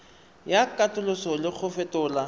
ya katoloso le go fetola